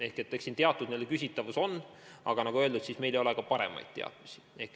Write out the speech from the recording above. Ehk siin teatud küsitavus on ja nagu öeldud, meil ei ole paremaid teadmisi.